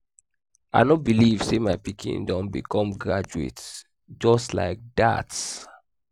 i no believe say my pikin don become graduate just like dat